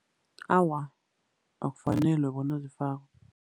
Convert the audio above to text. Awa, akufanelwe bona zifakwe.